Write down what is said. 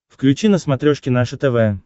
включи на смотрешке наше тв